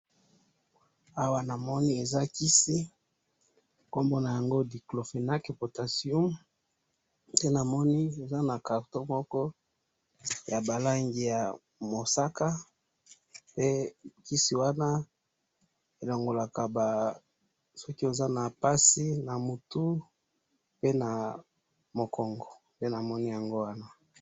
Na moni kisi nakati ya boite na yango ya mosaka, ebikisa mutu na mokongo.